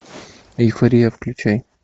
эйфория включай